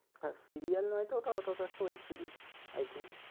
হ্যাঁ serial নয় তো ওটা ওটা তো একটা web series I think ।